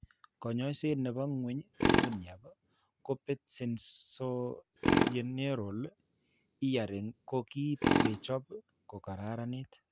Kaany'ayseet ne po ng'weny duniap kebet sensorineural hearing ko ki kechop koraraniit.